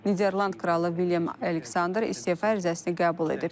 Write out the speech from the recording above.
Niderland kralı William Aleksandr istefa ərizəsini qəbul edib.